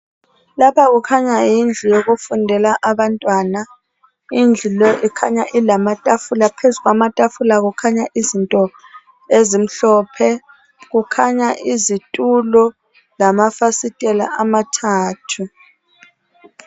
Lapha kukhanya yindlu yokufundela abantwana indlu le ikhanya ilamatafula phezu kwamatafula kukhanya izinto ezimhlophe kukhanya izitulo lamafasitela amathathu.